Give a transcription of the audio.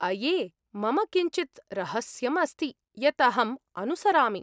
अये! मम किञ्चित् रहस्यम् अस्ति यत् अहम् अनुसरामि।